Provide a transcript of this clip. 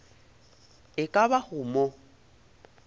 e ka ba go mo